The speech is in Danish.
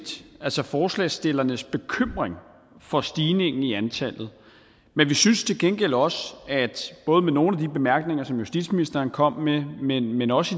forslagsstillernes bekymring for stigningen i antallet men vi synes til gengæld også at vi både med nogle af de bemærkninger som justitsministeren kom med men også